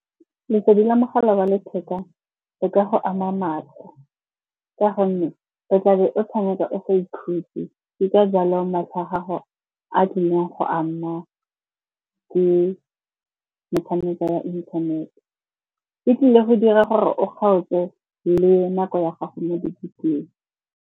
Lesedi la mogala wa letheka le ka go ama matlho, ka gonne o tla be o tshameka o sa ikhutse. Ke ka jalo matlho a gago a tlileng go amwa ke metshameko ya inthanete. E tlile go dira gore o kgaotse le nako ya gago mo dibukeng.